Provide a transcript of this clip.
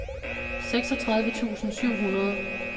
seksogtredive tusind syv hundrede